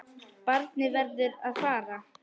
Barnið verður að fara.